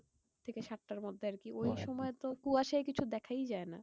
থেকে সাতটার মধ্যে আরকি ওই সময় তো কুয়াশায় কিছু দেখাই যায়না।